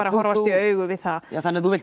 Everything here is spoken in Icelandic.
að horfast í augu við það þannig að þú vilt